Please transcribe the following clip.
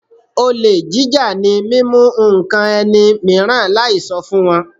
Olè jíjà ni mímú ǹkan ẹni mìíràn láì sọ fún wọn.